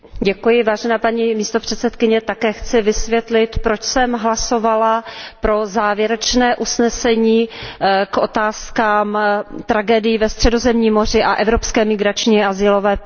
Paní předsedající, také chci vysvětlit, proč jsem hlasovala pro závěrečné usnesení o otázkách tragédií ve Středozemním moři a evropské migrační a azylové politice.